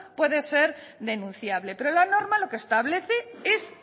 puede ser denunciable pero la norma lo que establece es